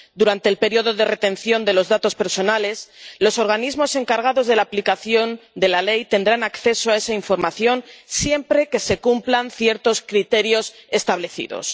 Durante el periodo de retención de los datos personales, los organismos encargados de la aplicación de la ley tendrán acceso a esa información, siempre que se cumplan ciertos criterios establecidos.